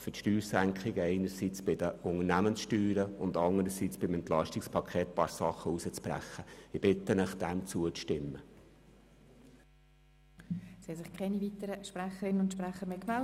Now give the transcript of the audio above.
Damit können die Senkung der Unternehmenssteuern und das Herausbrechen einiger Massnahmen aus dem EP kompensiert werden.